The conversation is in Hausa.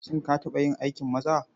Shin ka taɓa yin aikin maza?